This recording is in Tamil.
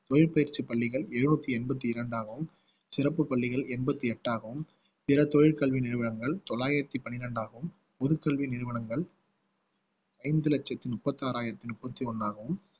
தொழிற்பயிற்சிப் பள்ளிகள் எழுநூத்தி எண்பத்தி இரண்டாகவும் சிறப்புப் பள்ளிகள் எண்பத்தி எட்டாகவும் பிற தொழில் கல்வி நிறுவனங்கள் தொள்ளாயிரத்தி பனிரெண்டாகவும் பொதுக் கல்வி நிறுவனங்கள் ஐந்து லட்சத்தி முப்பத்தி ஆறாயிரத்தி முப்பத்தி ஒண்ணாகவும்